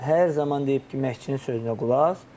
Hər zaman deyib ki, məşqçinin sözünə qulaq as.